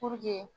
Puruke